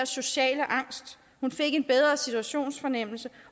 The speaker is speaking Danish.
sociale angst hun fik en bedre situationsfornemmelse